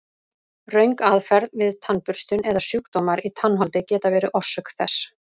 Röng aðferð við tannburstun eða sjúkdómar í tannholdi geta verið orsök þess.